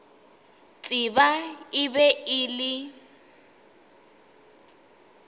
tseba e be e le